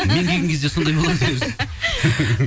мен келген кезде сондай болады өзі